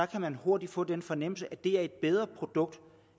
kan man hurtigt få den fornemmelse at det er et bedre produkt